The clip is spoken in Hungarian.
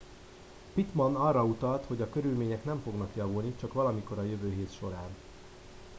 pittman arra utalt hogy a körülmények nem fognak javulni csak valamikor a jövő hét során